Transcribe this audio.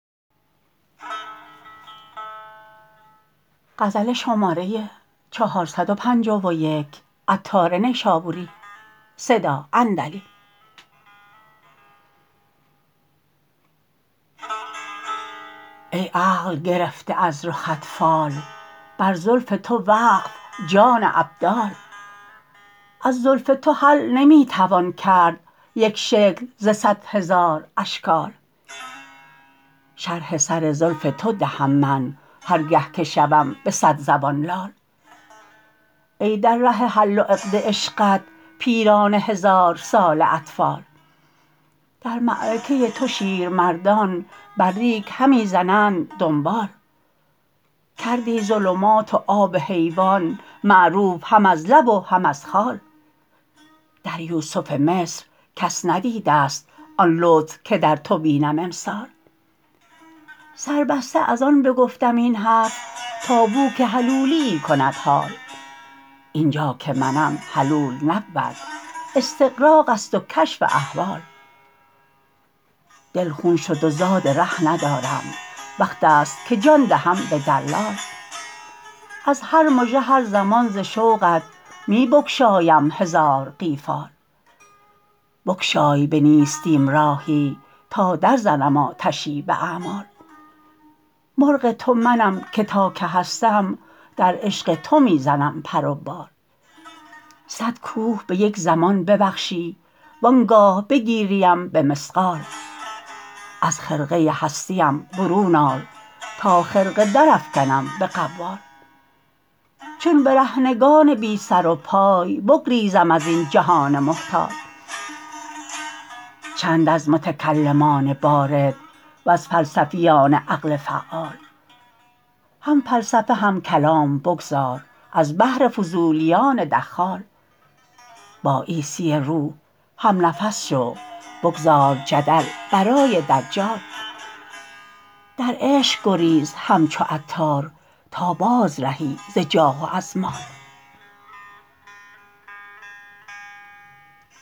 ای عقل گرفته از رخت فال بر زلف تو وقف جان ابدال از زلف تو حل نمی توان کرد یک شکل ز صد هزار اشکال شرح سر زلف تو دهم من هرگه که شوم به صد زبان لال ای در ره حل و عقد عشقت پیران هزار ساله اطفال در معرکه تو شیرمردان بر ریگ همی زنند دنبال کردی ظلمات و آب حیوان معروف هم از لب و هم از خال در یوسف مصر کس ندیده است آن لطف که در تو بینم امسال سربسته از آن بگفتم این حرف تا بو که حلولیی کند حال اینجا که منم حلول نبود استغراق است و کشف احوال دل خون شد و زاد ره ندارم وقت است که جان دهم به دلال از هر مژه هر زمان ز شوقت می بگشایم هزار قیفال بگشای به نیستیم راهی تا در زنم آتشی به اعمال مرغ تو منم که تا که هستم در عشق تو می زنم پر و بال صد کوه به یک زمان ببخشی وانگاه بگیریم به مثقال از خرقه هستیم برون آر تا خرقه درافکنم به قوال چون برهنگان بی سر و پای بگریزم ازین جهان محتال چند از متکلمان بارد وز فلسفیان عقل فعال هم فلسفه هم کلام بگذار از بهر فضولیان دخال با عیسی روح هم نفس شو بگذار جدل برای دجال در عشق گریز همچو عطار تا باز رهی ز جاه و از مال